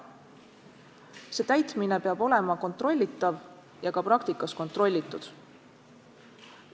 Ja normi täitmine peab olema kontrollitav ja ka praktikas kontrollitud.